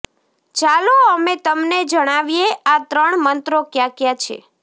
ચાલો અમે તમને જણાવીએ આ ત્રણ મંત્રો ક્યા ક્યા છે